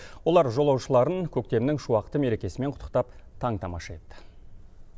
олар жолаушыларын көктемнің шуақты мерекесімен құттықтап таң тамаша етті